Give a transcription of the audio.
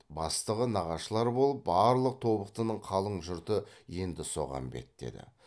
бастығы нағашылар болып барлық тобықтының қалың жұрты енді соған беттеді